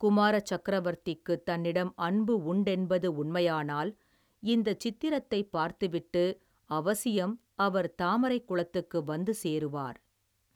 குமார சக்கரவர்த்திக்குத் தன்னிடம் அன்பு உண்டென்பது உண்மையானால் இந்தச் சித்திரத்தைப் பார்த்துவிட்டு அவசியம் அவர் தாமரைக் குளத்துக்கு வந்து சேருவார்.